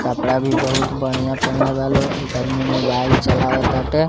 कपड़ा भी बहुत बढ़िया पिहिनले बा लोग एक आदमी मोबाइल चलावा ताटे।